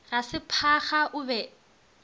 ga se phaga o be